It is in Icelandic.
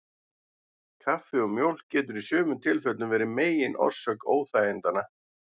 Kaffi og mjólk getur í sumum tilfellum verið megin orsök óþægindanna.